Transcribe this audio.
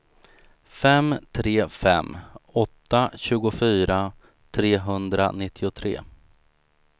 fem tre fem åtta tjugofyra trehundranittiotre